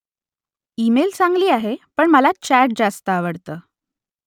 email चांगली आहे पण मला चॅट जास्त आवडतं